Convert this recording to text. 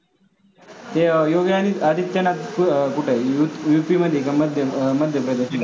हे योगी आदित्यनाथ कुठे आहे? UP मध्ये का? अं मध्य प्रदेश मध्ये?